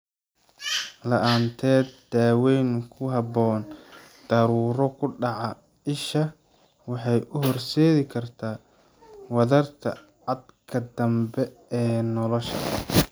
La'aanteed daawayn ku habboon, daruuro ku dhaca isha waxay u horseedi kartaa wadarta caadka dambe ee nolosha.